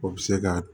O bɛ se ka